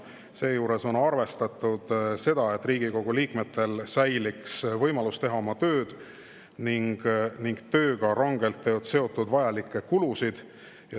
Seejuures on arvestatud, et Riigikogu liikmetel säiliks võimalus teha oma tööd ning tööga rangelt seotud vajalikke kulusid.